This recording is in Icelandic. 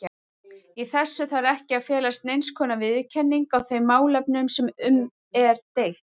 Í þessu þarf ekki að felast neinskonar viðurkenning á þeim málefnum sem um er deilt.